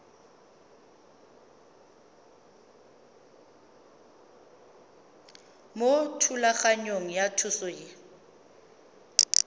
mo thulaganyong ya thuso y